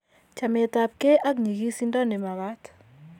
chametabkei ak nyigisindo ne magaat